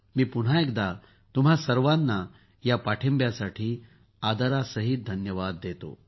मी पुन्हा एकदा तुम्हा सर्वांना या पाठींब्यासाठी आदरसहित धन्यवाद देतो